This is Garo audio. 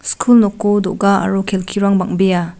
skul noko do·ga aro kelkirang bang·bea.